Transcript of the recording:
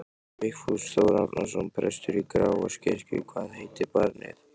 Vigfús Þór Árnason, prestur í Grafarvogskirkju: Hvað heitir barnið?